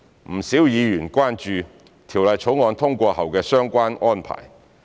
不少議員關注《條例草案》通過後的相關安排。